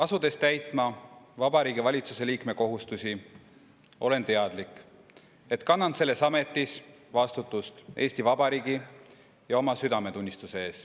Asudes täitma Vabariigi Valitsuse liikme kohustusi, olen teadlik, et kannan selles ametis vastutust Eesti Vabariigi ja oma südametunnistuse ees.